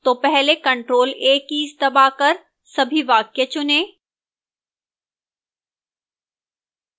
तो पहले ctrl + a keys दबाकर सभी वाक्य चुनें